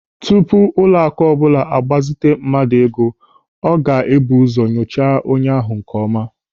Tupu ụlọaku ọbụla a gbazite mmadụ ego, ọ ga-ebu ụzọ nyochaa onye ahụ nkeọma.